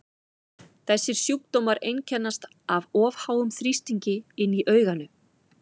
Þessir sjúkdómar einkennast af of háum þrýstingi inni í auganu.